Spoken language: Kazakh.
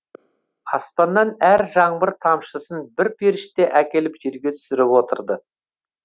аспаннан әр жаңбыр тамшысын бір періште әкеліп жерге түсіріп отырды